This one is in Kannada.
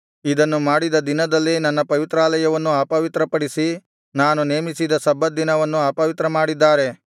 ಇದನ್ನು ಮಾಡಿದ ದಿನದಲ್ಲೇ ನನ್ನ ಪವಿತ್ರಾಲಯವನ್ನು ಅಪವಿತ್ರ ಪಡಿಸಿ ನಾನು ನೇಮಿಸಿದ ಸಬ್ಬತ್ ದಿನವನ್ನು ಅಪವಿತ್ರ ಮಾಡಿದ್ದಾರೆ